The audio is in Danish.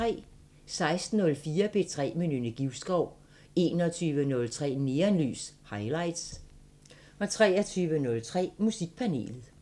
16:04: P3 med Nynne Givskov 21:03: Neonlys – Highlights 23:03: Musikpanelet